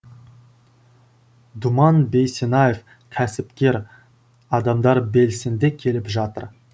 думан бейсенаев кәсіпкер адамдар белсенді келіп жатыр